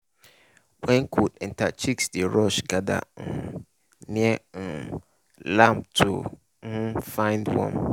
when cold enter chicks dey rush gather um near um lamp to um find warm.